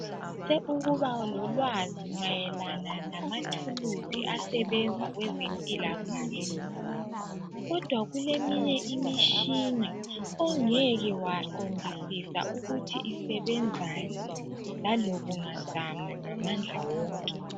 Sithe ukuba lolwazi mayelana lamathuluzi asebenza kwezempilakahle, kodwa kuleminye imitshina ongeke waqondisisa ukuthi isebenzani lalobungazama ngamandla wonke.